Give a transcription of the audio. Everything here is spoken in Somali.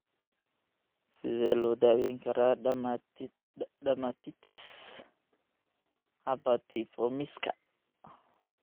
Sidee loo daweyn karaa dermatitis herpetiformiska?